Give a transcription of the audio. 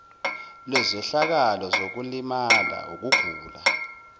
lwezehlakalo zokulimala ukugula